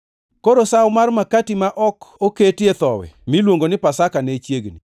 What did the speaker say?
Koro Sawo mar makati ma ok oketie thowi, miluongo ni Pasaka, ne chiegni,